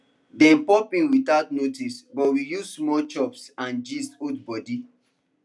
dem pop in without notice but we use small chops and gist hold body